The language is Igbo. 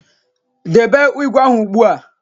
Debe ígwè ahụ ugbu a